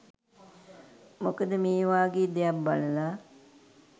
මොකද මේවාගේ දෙයක් බලලා